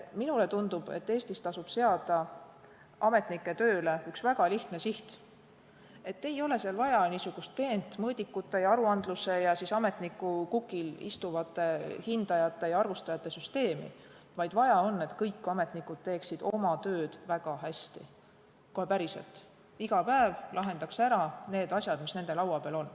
Mulle tundub, et Eestis tasub seada ametnike tööle üks väga lihtne siht: ei ole vaja niisugust peent mõõdikute ja aruandluse ja ametniku kukil istuvate hindajate ja arvustajate süsteemi, vaid vaja on, et kõik ametnikud teeksid oma tööd väga hästi, kohe päriselt, iga päev lahendaks ära need asjad, mis on nende laual.